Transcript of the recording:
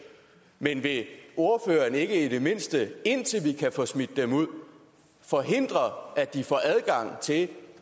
men vil ordføreren ikke i det mindste indtil vi kan få smidt dem ud forhindre at de får adgang til at